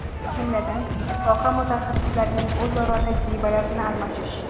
Jumladan, soha mutaxassislarining o‘zaro tajribalarini almashish.